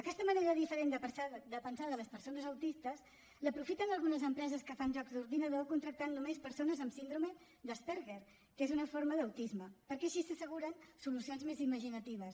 aquesta manera diferent de pensar de les persones autistes l’aprofiten algunes empreses que fan jocs d’ordinador contractant només persones amb síndrome d’asperger que és una forma d’autisme perquè així s’asseguren solucions més imaginatives